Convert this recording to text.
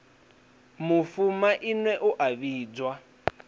mufu maine u a vhidzwa